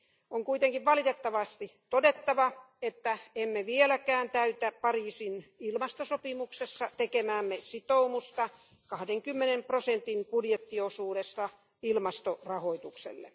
On kuitenkin valitettavasti todettava, että emme vieläkään täytä Pariisin ilmastosopimuksessa tekemäämme sitoumusta 20 prosentin budjettiosuudesta ilmastorahoitukselle.